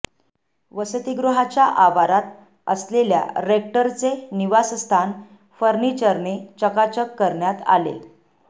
वसतिगृहाच्या आवारात असलेल्या रेक्टरचे निवासस्थान फनिर्चरने चकाचक करण्यात आले